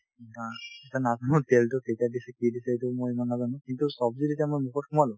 উম, আ এতিয়া তেলতো কেতিয়াৰ দিছে কি দিছে সেইটো মই ইমান নাজানো কিন্তু ছব্জি যেতিয়া মই মুখত সোমালো